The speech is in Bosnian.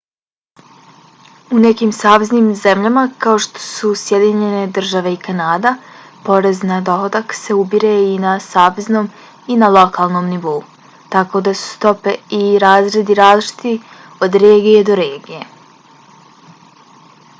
u nekim saveznim zemljama kao što su sjedinjene države i kanada porez na dohodak se ubire i na saveznom i na lokalnom nivou tako da su stope i razredi različiti od regije do regije